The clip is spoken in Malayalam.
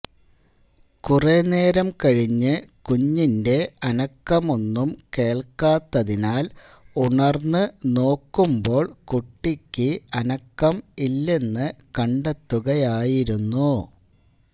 കുറേ നേരം കഴിഞ്ഞ് കുഞ്ഞിന്റെ അനക്കമൊന്നും കേള്ക്കാത്തതിനാല് ഉണര്ന്ന് നോക്കുമ്പോള് കുട്ടിയ്ക്ക് അനക്കം ഇല്ലെന്ന് കണ്ടെത്തുകയായിരുന്നു